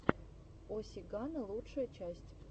о сигано лучшая часть